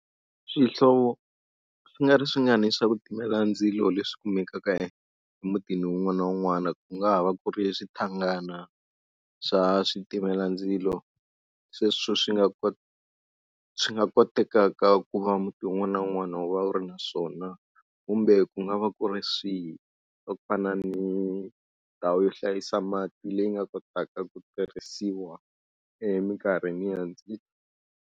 Swihlovo swi nga ri swi nga ni swa ku timela ndzilo leswi kumekaka emutini wun'wana na wun'wana ku nga ha va ku ri swithangana swa switimelandzilo. Sweswo swi nga kota swi nga kotekaka ku va muti wun'wana na wun'wana wu va wu ri na swona. Kumbe ku nga va ku ri swihi, swa ku fana ni ndhawu yo hlayisa mati leyi nga kotaka ku tirhisiwa eminkarhi ni ndzilo.